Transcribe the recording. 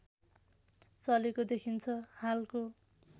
चलेको देखिन्छ हालको